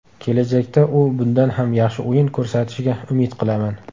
Kelajakda u bundan ham yaxshi o‘yin ko‘rsatishiga umid qilaman.